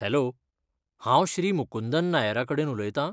Hello! हांव श्री मुकुंदन नायरा कडेन उलयतां?